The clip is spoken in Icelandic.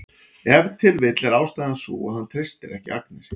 Ef til vill er ástæðan sú að hann treystir ekki Agnesi.